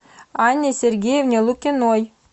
анне сергеевне лукиной